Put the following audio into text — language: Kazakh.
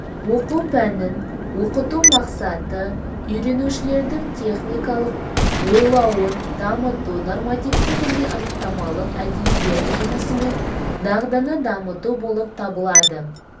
оқу пәнін оқыту мақсаты үйренушілердің техникалық ойлауын дамыту нормативтік және анықтамалық әдебиет жұмысымен дағдыны дамыту болып табылады